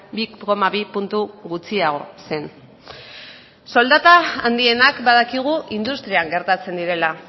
bi koma bi puntu gutxiago zen soldata handienak badakigu industrian gertatzen direla